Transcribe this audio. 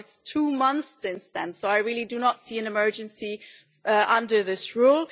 It's two months since then, so I really do not see an emergency under this rule.